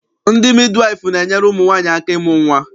Ndị midiwaịfụ na-enyere ụmụ nwaanyị aka ịmụ nnwa.